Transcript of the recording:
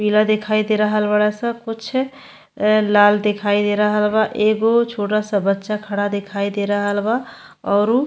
पीला दिखाई दे रहल बाड़ स कुछ ए लाल दिखाई दे रहल बा। एगो छोटा सा बच्चा खड़ा दिखाई दे रहल बा औरू --